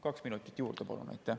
Kaks minutit juurde, palun!